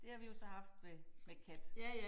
Det har vi jo så haft ved med kat